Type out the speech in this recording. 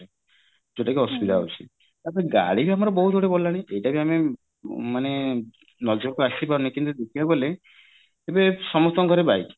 ଯୋଉଟା କି ଅସୁବିଧା ହଉଛି ଏବେ ଗାଡି ବି ଏବେ ବହୁତ ଗୁଡାଏ ବଢିଲାଣି ଏଇଟା ବି ଆମେ ମାନେ ନଜର କୁ ଆସିପାରିନି କିନ୍ତୁ ଦେଖିବାକୁ ଗଲେ ଏବେ ସମସ୍ତଙ୍କ ଘରେ bike